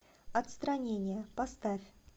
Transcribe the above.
отстранение поставь